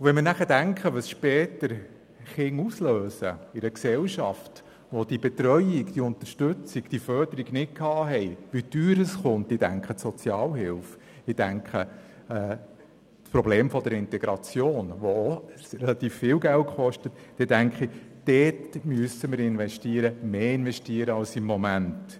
Wenn man bedenkt, was Kinder ohne diese Unterstützung und Förderung später in einer Gesellschaft auslösen, wie teuer dies wird – ich denke dabei an die Sozialhilfe und das Problem der Integration, die relativ viel Geld kostet –, muss in diesen Bereich investiert werden, mehr als im Moment.